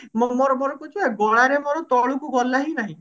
ମୁଁ ମୋର ମୋର କହୁଛି ବା ଗଳାରେ ମୋର ତଳକୁ ଗଲା ହିଁ ନାହିଁ